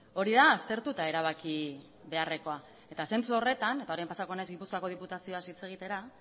hori da aztertu eta erabaki beharrekoa eta zentzu horretan eta orain pasako naiz gipuzkoako diputazioaz hitz egitera